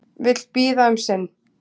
Vill bíða um sinn